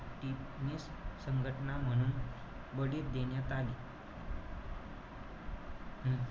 संघटना म्हणून बडीत देण्यात आली. हम्म